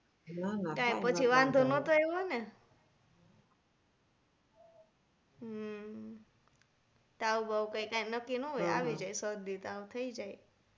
કાઈ પછી વાંધો નતો આયવો ને હમ તાવ બાવ કાંઈક નક્કી ન હોય આવી જાય શરદી તાવ થઇ જાય